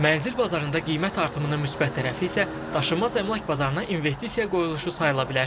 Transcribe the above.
Mənzil bazarında qiymət artımının müsbət tərəfi isə daşınmaz əmlak bazarına investisiya qoyuluşu sayıla bilər.